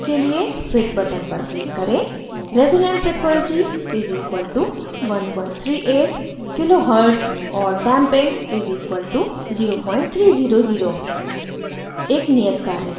values दिखाने के लिए fit button पर click करें